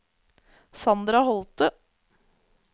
Sandra Holte